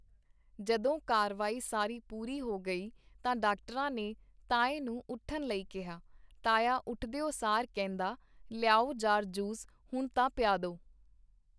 ਜਦੋਂ ਕਾਰਵਾਈ ਸਾਰੀ ਪੂਰੀ ਹੋ ਗਈ ਤਾਂ ਡਾਕਟਰਾਂ ਨੇ ਤਾਏ ਨੂੰ ਉੱਠਣ ਲਈ ਕਿਹਾ ਤਾਇਆ ਉੱਠ ਦਿਓ ਸਾਰ ਕਹਿੰਦਾ ਲਿਆਓ ਜਾਰ ਜੂਸ ਹੁਣ ਤਾਂ ਪਿਆਦੋ.